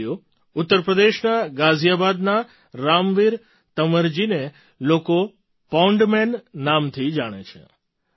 સાથીઓ ઉત્તર પ્રદેશના ગાઝિયાબાદના રામવીર તંવરજીને લોકો પૉન્ડ મેન નામથી જાણે છે